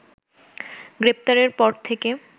গ্রেপ্তারের পর থেকে